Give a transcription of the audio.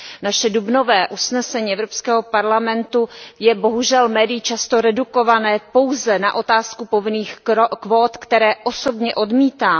Naše dubnové usnesení Evropského parlamentu je bohužel médii často redukováno pouze na otázku povinných kvót, které osobně odmítám.